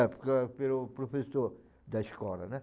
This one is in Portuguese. É, porque era pelo professor da escola, né?